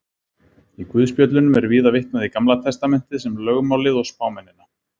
Í guðspjöllunum er víða vitnað í Gamla testamentið sem lögmálið og spámennina.